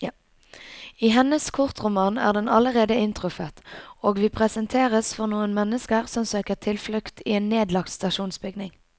I hennes kortroman er den allerede inntruffet, og vi presenteres for noen mennesker som søker tilflukt i en nedlagt stasjonsbygning.